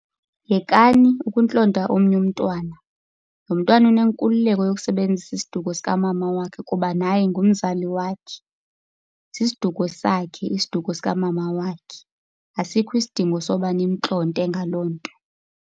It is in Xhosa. Yekani ukuntlonta omnye umntwana. Lo mntwana unenkululeko yokusebenzisa isiduko sikamama wakhe kuba naye ngumzali wakhe. Sisiduko sakhe isiduko sikamama wakhe, asikho isidingo sokuba nimntlonte ngaloo nto.